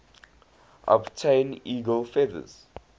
obtain eagle feathers